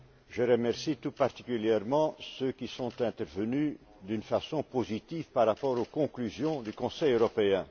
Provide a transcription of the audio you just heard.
Je remercie tout particulièrement ceux qui sont intervenus d'une façon positive par rapport aux conclusions du Conseil européen.